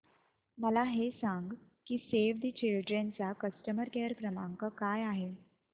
मला हे सांग की सेव्ह द चिल्ड्रेन चा कस्टमर केअर क्रमांक काय आहे